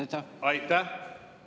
Aitäh!